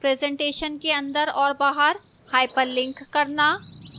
presentation के अंदर और बाहर hyperlink करना और